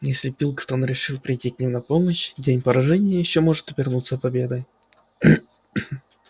если пилкингтон решит прийти к ним на помощь день поражения может ещё обернуться победой